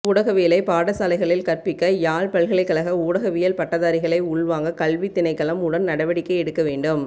ஊடகவியலை பாடசாலைகளில் கற்பிக்க யாழ் பல்கலைக்கழக ஊடகவியல் பட்டதாரிகளை உள்வாங்க கல்வித் திணைக்களம் உடன் நடவடிக்கை எடுக்க வேண்டும்